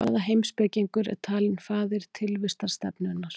Hvaða heimspekingur er talinn faðir tilvistarstefnunnar?